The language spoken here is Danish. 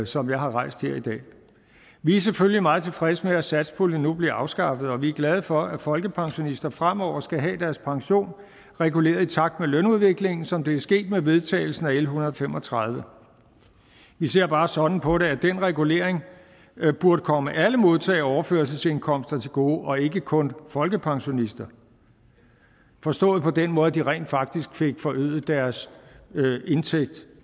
som jeg har rejst her i dag vi er selvfølgelig meget tilfredse med at satspuljen nu bliver afskaffet og vi er glade for at folkepensionister fremover skal have deres pension reguleret i takt med lønudviklingen som det er sket med vedtagelsen af l en hundrede og fem og tredive vi ser bare sådan på det at den regulering burde komme alle modtagere af overførselsindkomster til gode og ikke kun folkepensionister forstået på den måde at de rent faktisk fik forøget deres indtægt